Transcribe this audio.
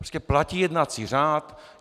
Prostě platí jednací řád.